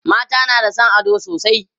mata na da San ado sosai